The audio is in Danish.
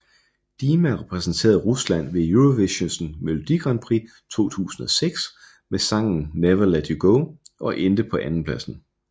Dima repræsenterede Rusland ved Eurovisionens melodi grand prix 2006 med sangen Never Let You Go og endte på andenpladsen